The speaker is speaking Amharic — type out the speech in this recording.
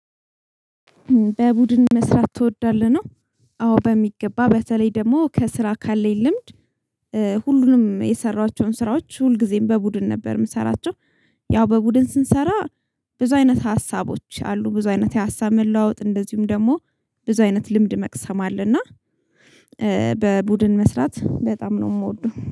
በቡድን መስራት ትወዳለህ? ነው አዎ በሚገባ በተለይ ደግሞ ከስራ ካለኝ ልምድ። ሁሉንም የሰራኋቸውን ስራዎች ሁልጊዜም በቡድን ነበር የምሰራቸው። ያው በቡድን ስንሰራ። ብዙ አይነት ሀሳቦች አሉ ብዙ አይነት የሀሳብ መለዋወጥ እንደዚሁም ደግሞ ብዙ አይነት ልምድ መቅሰም አለና። በቡድን መስራት በጣም ነው የምወደው